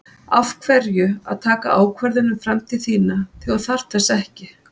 Af hverju að taka ákvörðun um framtíð þína þegar að þú þarft þess ekki?